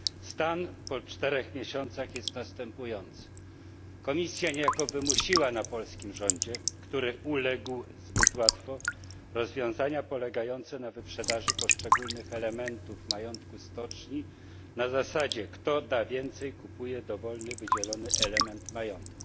Stan po czterech miesiącach jest następujący Komisja niejako wymusiła na polskim rządzie, który zbyt łatwo uległ, rozwiązania polegające na wyprzedaży poszczególnych elementów majątku stoczni na zasadzie kto da więcej, kupuje dowolny, wydzielony element majątku.